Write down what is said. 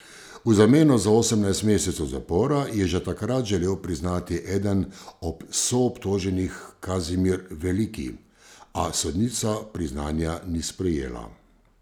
V zameno za osemnajst mesecev zapora je že takrat želel priznati eden ob soobtoženih Kazimir Veliki, a sodnica priznanja ni sprejela.